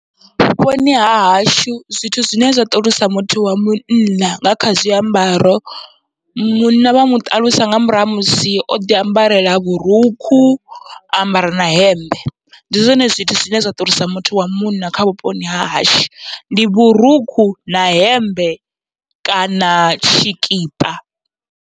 Vhuponi hahashu zwithu zwine zwa ṱalusa muthu wa munna nga kha zwiambaro, munna vha muṱalusa nga murahu ha musi oḓi ambarela vhurukhu ambara na hemmbe, ndi zwone zwithu zwine zwa ṱuwisa muthu wa munna kha vhuponi hahashu ndi vhurukhu na hemmbe kana tshikipa.